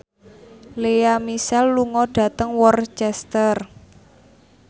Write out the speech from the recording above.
Lea Michele lunga dhateng Worcester